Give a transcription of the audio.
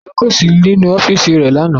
Akọ̀wé kò sí nínú ọ́fíìsì rẹ̀ lánàá